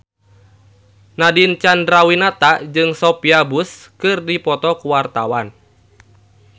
Nadine Chandrawinata jeung Sophia Bush keur dipoto ku wartawan